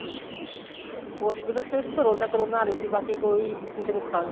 ਉਸ ਚ ਸਿਰਫ਼ ਕਰੋਨਾ ਕਰੋਨਾ ਆਲੇ ਸੀ ਬਾਕੀ ਕੋਈ ਕਿਸੇ ਨੂੰ ਖਾਂਸੀ